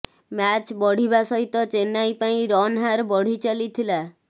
match ବଢିବା ସହିତ ଚେନ୍ନାଇ ପାଇଁ ରନହାର ବଢି ଚାଲିଥିଲା